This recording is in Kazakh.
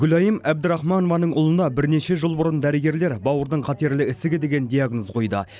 гүлайым әбдірахманованың ұлына бірнеше жыл бұрын дәрігерлер бауырдың қатерлі ісігі деген диагноз қойды